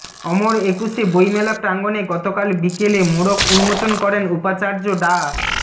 অমর একুশে বইমেলা প্রাঙ্গণে গতকাল বিকেলে মোড়ক উন্মোচন করেন উপাচার্য ডা